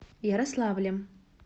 ярославлем